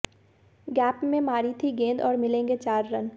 gap में मारी थी गेंद और मिलेंगे चार रन